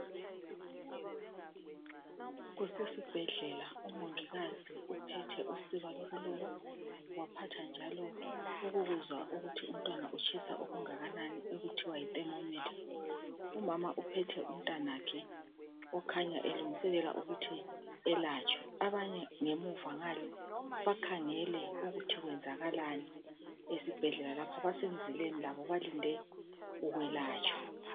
kusesibhedlela umongikazi uphethe waphatha njalo ukuzwa ukuthi umntwana utshisa okunganani okuthiwa yithemomitha umama uphethe umntwana wakhe okhanya elungiselela ukuthi elatshwe abanye ngemuva ngale bakhangele ukuthi kwenzakalani esibhedlela lapho basemzileni labo balinde ukwelatshwa